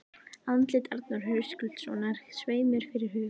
Andlit Arnar Höskuldssonar sveif mér fyrir hug